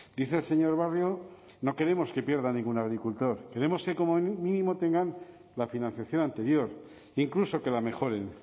dice el señor barrio no queremos que pierda ningún agricultor queremos que como mínimo tengan la financiación anterior e incluso que la mejoren